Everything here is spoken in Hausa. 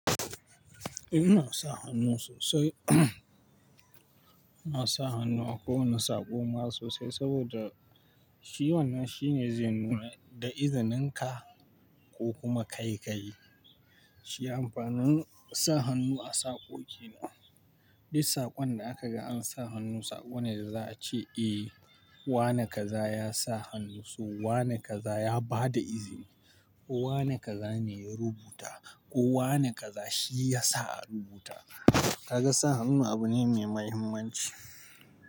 Inna sa hannu sosai, nasa hannu a kowane saƙo ma sosai saboda shi wannan shine zai nuna da izininka ko kuma kai kayi. Shi amfanin sa hannu a saƙo shine. Duk saƙonda akaga ansa hannu, saƙone da za'a ce, "Eh, wane kaza yasa hannu?" So wane kaza ya bada izini, ko wane kaza ne ya rubuta, ko wane kaza shi yasa a rubuta. Kaga sa hannu abu ne mai mahimmanci.